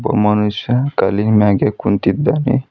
ಒಬ್ಬ ಮನುಷ್ಯ ಕಲ್ಲಿನ್ ಮ್ಯಾಗೆ ಕುಂತಿದ್ದಾನೆ.